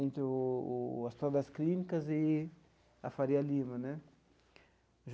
entre o o o Hospital das Clínicas e a Faria Lima né.